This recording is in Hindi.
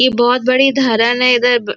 ये बहुत बड़ी धरन है इधर --